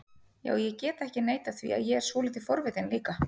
Já, ég get ekki neitað því að ég er svolítið forvitinn líka